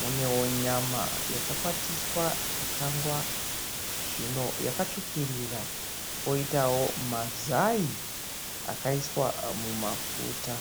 Munewo nyama yakakwatiswa ikakangwa zvino yakatsvukirira, koitawo mazai akaiswa mumafuta.